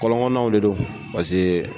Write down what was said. Kɔlɔnkɔnɔnaw de don